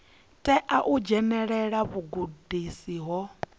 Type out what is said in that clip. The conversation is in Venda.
tea u dzhenelela vhugudisi ho